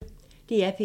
DR P1